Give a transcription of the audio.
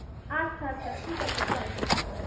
আচ্ছা আচ্ছা ঠিক আছে। চল টাটা।